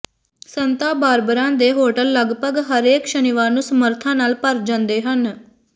ਸੰਤਾ Barbara ਦੇ hotel ਲਗਭਗ ਹਰੇਕ ਸ਼ਨੀਵਾਰ ਨੂੰ ਸਮਰੱਥਾ ਨਾਲ ਭਰ ਜਾਂਦੇ ਹਨ